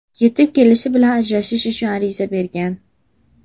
Yetib kelishi bilan ajrashish uchun ariza bergan.